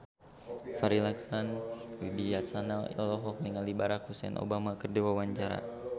Farri Icksan Wibisana olohok ningali Barack Hussein Obama keur diwawancara